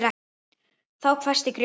Þá hvæsti Grjóni